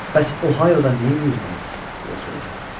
Bəs Ohioda nə edirdiniz?" deyə soruşdu.